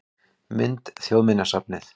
Mynd: Þjóðminjasafnið